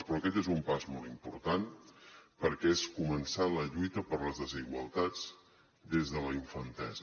però aquest és un pas molt important perquè és començar la lluita per les desigualtats des de la infantesa